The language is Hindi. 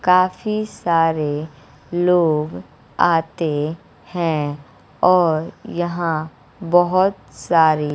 काफी सारे लोग आते हैं और यहां बहुत सारे--